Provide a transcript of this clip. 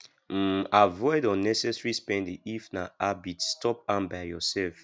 um avoid unnessesary spending if na habit stop am by yourself